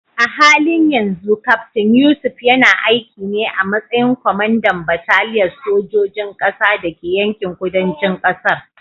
A halin yanzu Kaftin Yusuf yana aiki ne a matsayin kwamandan bataliyar sojojin ƙasa da ke yankin kudancin ƙasar.